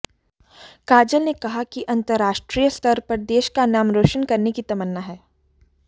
काजल ने कहा कि अंतर्राष्ट्रीय स्तर पर देश का नाम रोशन करने की तमन्ना है